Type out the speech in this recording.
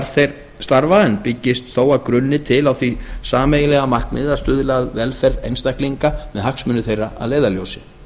þeir starfa en byggist þó að grunni til á því sameiginlega markmiði að stuðla að velferð einstaklinga með hagsmuni þeirra að leiðarljósi